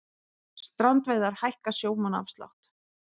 Strandveiðar hækka sjómannaafslátt